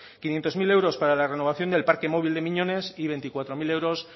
quinientos mil euros para la renovación del parque móvil de miñones y veinticuatro mil euros